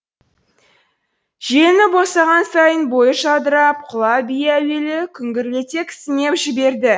желіні босаған сайын бойы жадырап құла бие әуелі күңгірлете кісінеп жіберді